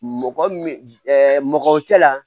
Mɔgɔ min mɔgɔ cɛla la